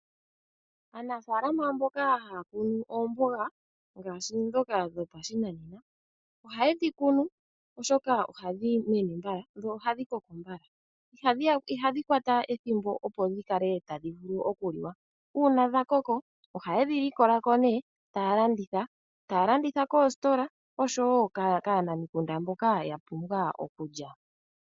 Aanafaalama mboka haya kunu oomboga ngaashi ndhoka dhopashinanena ohaye dhi kunu oshoka ohadhi mene mbala dho ohadhi koko mbala. Ihadhi kwata ethimbo opo dhi kale tadhi vulu oku liwa. Uuna dha koko ohayedhi likola ko nee taya landitha, taya landitha koositola osho woo kaanamikunda mboka ya pumbwa okulya.